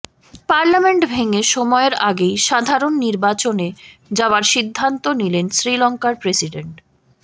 parliament ভেঙে সময়ের আগেই সাধারণ নির্বাচনে যাওয়ার সিদ্ধান্ত নিলেন শ্রীলঙ্কার প্রেসিডেন্ট